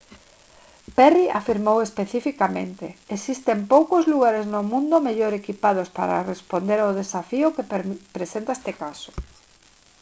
perry afirmou especificamente: «existen poucos lugares no mundo mellor equipados para responder ao desafío que presenta este caso»